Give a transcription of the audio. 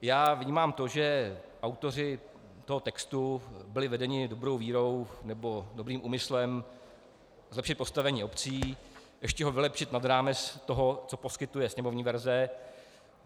Já vnímám to, že autoři toho textu byli vedeni dobrou vírou nebo dobrým úmyslem zlepšit postavení obcí, ještě ho vylepšit nad rámec toho, co poskytuje sněmovní verze.